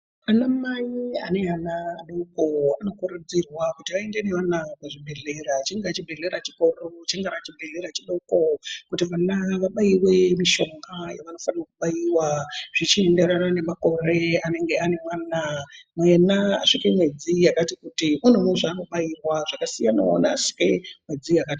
Ana mai ane ana adoko anokurudzirwa kuti aende navo kuzvibhedhleya, chingava chibhedhlera chikuru , chingava chibhedhlera chidoko .Ngavabaiwe mushonga yavanofana kubaiwa zvichiri kuenderana nemakore anenge ane mwana .Yena asvika mwedzi yakati kuti une zvimweni zvaanobairwa zvakasiyanawo neamwedzi imweni.